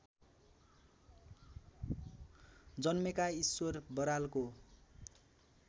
जन्मेका ईश्वर बरालको